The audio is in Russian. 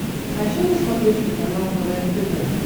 хочу на смотрешке канал квн тв